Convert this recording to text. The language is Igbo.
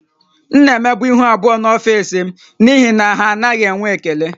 M na-emebu ihu abụọ n’ọfịs m n’ihi na ha anaghị enwe ekele